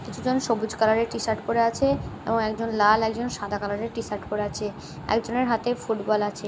কিছু জন সবুজ কালার -এর টি-শার্ট পরে আছে এবং একজন লাল একজন সাদা কালারের টি-শার্ট পরে আছে একজনের হাতে ফুটবল আছে।